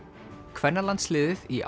kvennalandsliðið í